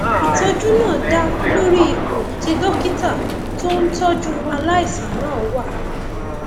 ìtọjú náà dá lórí ipò tí dókítà tó ń tọjú aláìsàn náà wà